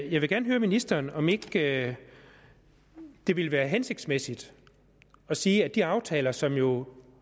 jeg vil gerne høre ministeren om ikke det ville være hensigtsmæssigt at sige at de aftaler som jo